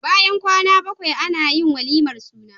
Bayan kwAna bakwai Anayin walimar suna